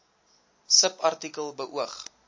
subartikel beoog